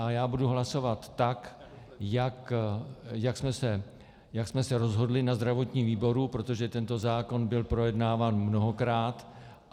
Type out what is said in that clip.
A já budu hlasovat tak, jak jsme se rozhodli na zdravotním výboru, protože tento zákon byl projednáván mnohokrát.